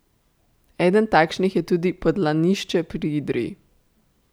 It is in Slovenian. Eden takšnih je tudi Podlanišče pri Idriji.